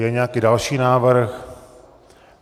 Je nějaký další návrh?